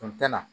na